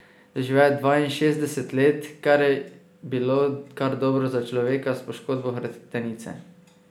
Doživel je dvainšestdeset let, kar je bilo kar dobro za človeka s poškodbo hrbtenice.